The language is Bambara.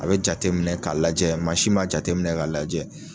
A bɛ jate minɛ k'a lajɛ mansi m'a jate minɛ k'a lajɛ.